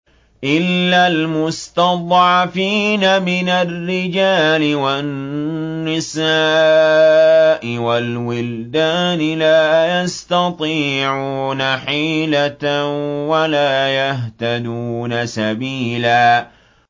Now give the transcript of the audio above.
إِلَّا الْمُسْتَضْعَفِينَ مِنَ الرِّجَالِ وَالنِّسَاءِ وَالْوِلْدَانِ لَا يَسْتَطِيعُونَ حِيلَةً وَلَا يَهْتَدُونَ سَبِيلًا